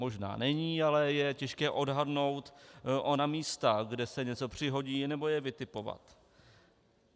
Možná není, ale je těžké odhadnout ona místa, kde se něco přihodí, nebo je vytipovat.